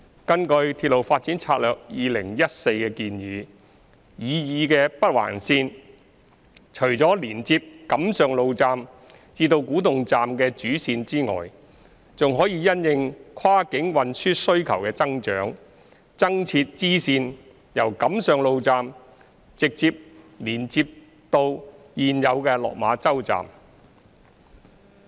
根據《鐵路發展策略2014》的建議，擬議的北環綫除了連接錦上路站至古洞站的主線外，還可因應跨境運輸需求的增長，增設支線由錦上路站直接連接至現有的落馬洲站。